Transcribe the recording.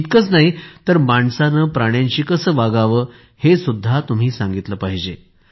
इतकंच नाही तर माणसाने प्राण्यांशी कसं वागावं हे सुद्धा तुम्ही सांगितलं पाहिजे